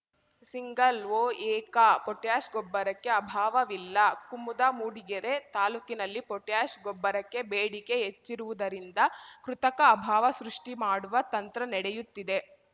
single ಒಎಕಪೊಟ್ಯಾಷ್‌ ಗೊಬ್ಬರಕ್ಕೆ ಅಭಾವವಿಲ್ಲ ಕುಮುದಾ ಮೂಡಿಗೆರೆ ತಾಲೂಕಿನಲ್ಲಿ ಪೊಟ್ಯಾಷ್‌ ಗೊಬ್ಬರಕ್ಕೆ ಬೇಡಿಕೆ ಹೆಚ್ಚಿರುವುದರಿಂದ ಕೃತಕ ಅಭಾವ ಸೃಷ್ಟಿಮಾಡುವ ತಂತ್ರ ನೆಡೆಯುತ್ತಿದೆ